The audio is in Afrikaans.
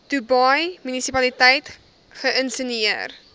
dubai munisipaliteit geïnisieer